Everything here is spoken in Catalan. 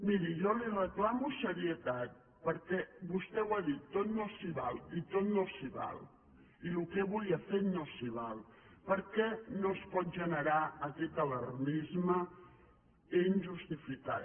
miri jo li reclamo serietat perquè vostè ho ha dit tot no s’hi val i tot no s’hi val i el que avui ha fet no s’hi val perquè no es pot generar aquest alarmisme injustificat